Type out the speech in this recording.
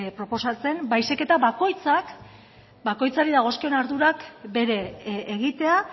proposatzen baizik eta bakoitzari dagozkion ardurak bere egitea